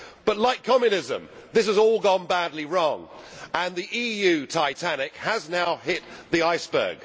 But, like Communism, this has all gone badly wrong and the EU Titanic has now hit the iceberg.